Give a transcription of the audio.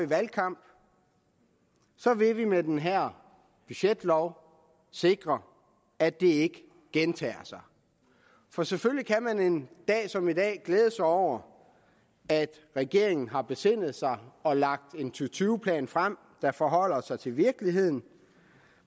valgkamp så vil vi med den her budgetlov sikre at det ikke gentager sig for selvfølgelig kan man en dag som i dag glæde sig over at regeringen har besindet sig og lagt en to tyve plan frem der forholder sig til virkeligheden